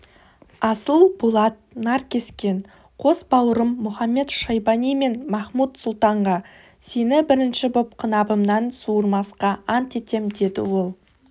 асыл болат наркескен қос бауырым мұхамед-шайбани мен махмуд-сұлтанға сені бірінші боп қынабымнан суырмасқа ант етем деді ол